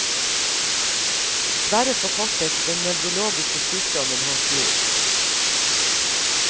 Dessverre forkortet den nevrologiske sykdommen hans liv.